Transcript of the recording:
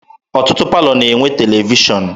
Ọtụtụ palọ na-enwe televishọn.